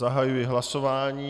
Zahajuji hlasování.